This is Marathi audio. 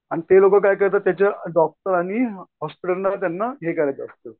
आणि ते लोकं काय करतात त्याचे डॉकटर आणि हॉस्पिटलला त्यांना हे करायचं असतं.